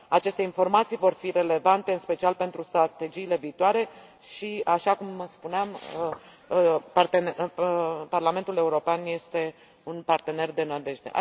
Aceste informații vor fi relevante în special pentru strategiile viitoare și, așa cum spuneam, Parlamentul European este un partener de nădejde.